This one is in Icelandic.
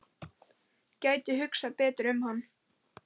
Gæti hugsað betur um hann.